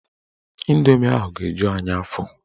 Indomi ahụ ga-eju anyị afọ.